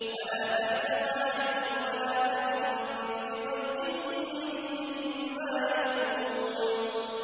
وَلَا تَحْزَنْ عَلَيْهِمْ وَلَا تَكُن فِي ضَيْقٍ مِّمَّا يَمْكُرُونَ